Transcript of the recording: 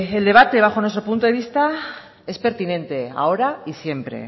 el debate bajo nuestro punto de vista es pertinente ahora y siempre